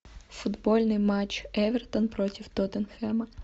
футбольный матч эвертон против тоттенхэма